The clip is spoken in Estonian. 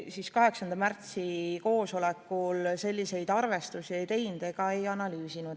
Komisjon 8. aprilli koosolekul selliseid arvestusi ei teinud ega analüüsinud.